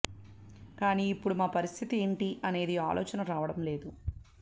కాని ఇప్పుడు మా పరిస్థితి ఏంటీ అనేది ఆలోచన రావడం లేదు